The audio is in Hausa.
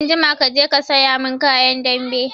Anjima kaje ka saya mun kayan dambe!